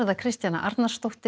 Kristjana Arnarsdóttir